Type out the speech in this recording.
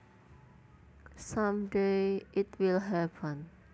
Some day it will happen